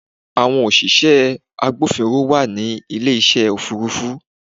Àwọn òṣìṣẹ́ agbófinró wà ní ilé ìṣe Òfurufú.